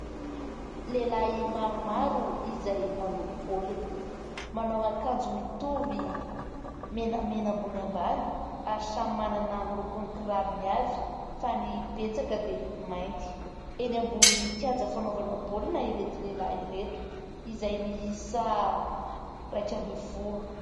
Lehilahy maromaro izay manao baolina : manao akanjo mitovy menamena ambony ambany ary samy manana ny lokon'ny kirarony avy fa ny betsaka dia mainty. Eny ambony kianja fanaovana baolina ireto lehilahy ireto izay miisa iraika ambin'ny folo.